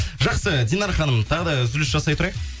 жақсы динара ханым тағы да үзіліс жасай тұрайық